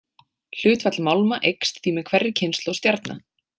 Hlutfall málma eykst því með hverri kynslóð stjarna.